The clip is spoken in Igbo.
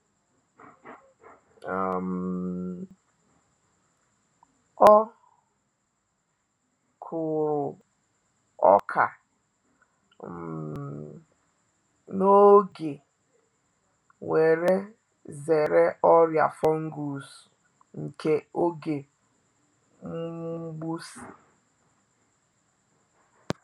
um O kuru oka um n’oge we’re zere ọrịa fungus nke oge mgbụsị.